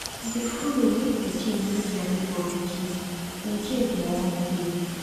e dey follow mek pikin no dia neibor pikin incase dem wan play